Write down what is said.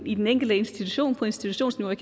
i den enkelte institution på institutionsniveau og